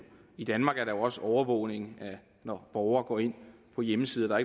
i danmark er der jo også overvågning når borgere går ind på hjemmesider der